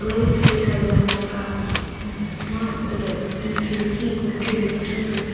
लईट तीसहजाहका मस्त रइई खिड़की गुट्ठी लईक्की रइई--